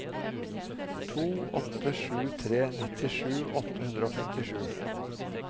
to åtte sju tre nittisju åtte hundre og femtisju